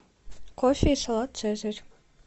кофе и салат цезарь